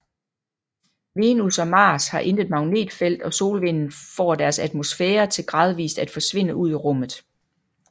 Venus og Mars har intet magnetfelt og solvinden får deres atmosfærer til gradvist at forsvinde ud i rummet